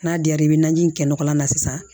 N'a diyara i bɛ najini in kɛ nɔgɔ la sisan